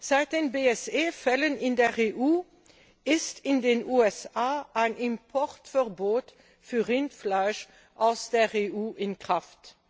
Seit den BSE Fällen in der EU ist in den USA ein Importverbot für Rindfleisch aus der EU in Kraft.